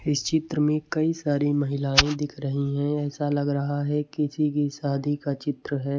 इस चित्र में कई सारी महिलाएं दिख रही है ऐसा लग रहा है किसी की शादी का चित्र है।